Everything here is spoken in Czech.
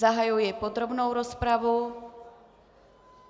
Zahajuji podrobnou rozpravu.